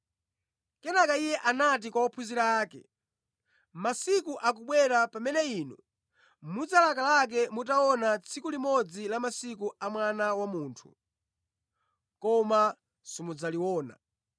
Kenaka Iye anati kwa ophunzira ake, “Masiku akubwera pamene inu mudzalakalaka mutaona tsiku limodzi la masiku a Mwana wa Munthu, koma simudzaliona.